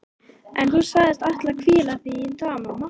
En þú sagðist ætla að hvíla þig í dag mamma.